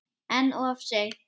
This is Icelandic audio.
En of seint?